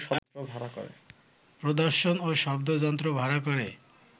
প্রদর্শন ও শব্দযন্ত্র ভাড়া করে